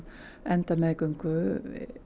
enda meðgöngu